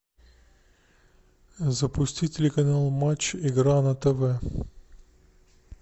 запусти телеканал матч игра на тв